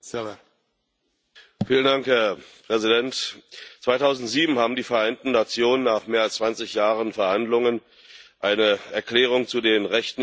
Herr Präsident! 2007 haben die Vereinten Nationen nach mehr als 20 Jahren Verhandlungen eine Erklärung zu den Rechten indigener Völker verabschiedet.